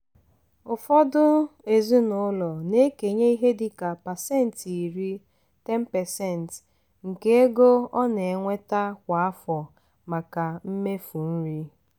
ụfọdụ ezinaụlọ na-ekenye ihe dịka pasentị iri (10%) nke ego ọ na-enweta kwa afọ maka mmefu nri.